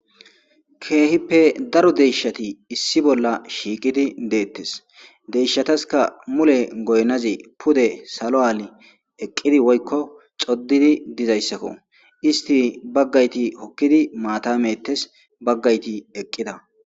Keehippe daro deyshati issi bolla shiiqidi deettes deshshataska mule goynazi pude salo aali eqqidi woykko xoddidi dizayssakko isti baggayti hokkidi maata meettes baggayti eqqida.